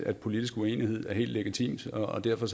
at politisk uenighed er helt legitimt og derfor